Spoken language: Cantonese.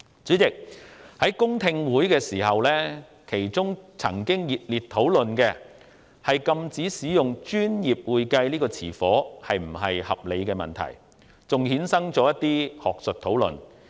主席，在公聽會上，與會者曾熱烈討論禁止使用"專業會計"這個稱謂是否合理的問題，其後更衍生出一連串學術討論。